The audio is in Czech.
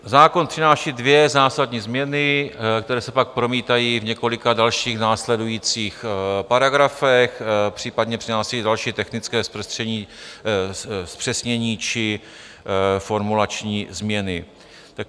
Zákon přináší dvě zásadní změny, které se pak promítají v několika dalších následujících paragrafech, případně přinášejí další technické zpřesnění či formulační změny.